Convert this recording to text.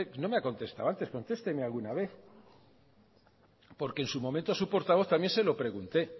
no me ha contestado antes contesteme alguna vez en su momento a su portavoz también se lo pregunté